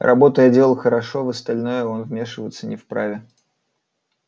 работу я делал хорошо в остальное он вмешиваться не вправе